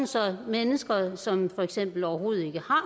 så mennesker som for eksempel overhovedet ikke har